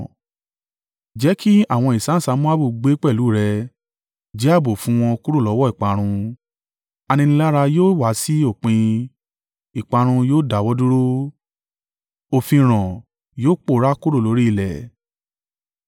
Jẹ́ kí àwọn ìsáǹsá Moabu gbé pẹ̀lú rẹ, jẹ́ ààbò fún wọn kúrò lọ́wọ́ ìparun.” Aninilára yóò wá sí òpin, ìparun yóò dáwọ́ dúró; òfinràn yóò pòórá kúrò lórí ilẹ̀.